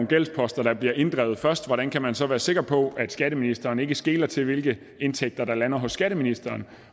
gældsposter der bliver inddrevet først hvordan kan man så være sikker på at skatteministeren ikke skeler til hvilke indtægter der lander hos skatteministeren